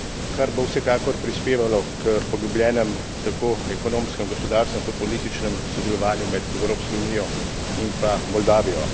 kar bo vsekakor prispevalo k poglobljenem tako ekonomskem gospodarskem kot političnem sodelovanju med Evropsko unijo in pa Moldavijo.